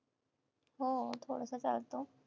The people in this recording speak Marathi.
हो. थोडासा चालतो.